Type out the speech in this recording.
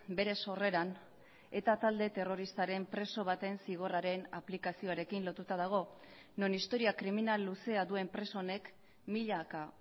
bere sorreran eta talde terroristaren preso baten zigorraren aplikazioarekin lotuta dago non historia kriminal luzea duen preso honek milaka